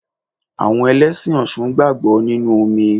Àwọn Ẹlẹ́sìn ọṣun gbàgbọ́ nínú omi.